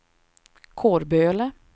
Kårböle